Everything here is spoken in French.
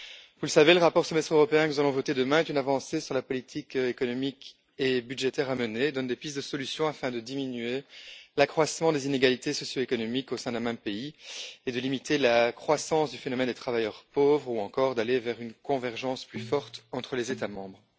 Vous le savez, le rapport sur le Semestre européen que nous allons voter demain est une avancée sur la politique économique et budgétaire à mener et donne des pistes de solution afin de diminuer l'accroissement des inégalités socio économiques au sein d'un même pays et de limiter la croissance du phénomène des travailleurs pauvres ou encore d'aller vers une convergence plus forte entre les États membres.